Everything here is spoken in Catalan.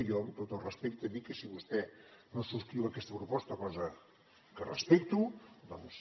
i jo amb tot el respecte dic que si vostè no subscriu aquesta proposta cosa que respecto doncs